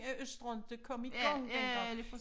At Østre inte kom i gang den gang